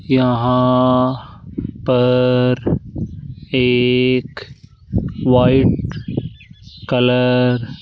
यहां पर एक वाइट कलर --